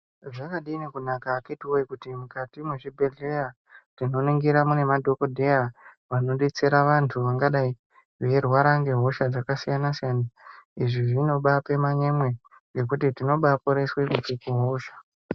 Zvakadini kunaka akhiti woye kuti mukati mwezvibhedhleya tinoningira mune madhokodheya vanodetsera vanthu vangadai veirwara ngehosha dzakasiyana siyana izvi zvinobape manyemwe ngekuti tinobaporeswe kubve muhosha.